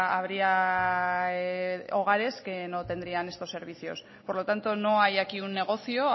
habría hogares que no tendrían estos servicios por lo tanto no hay aquí un negocio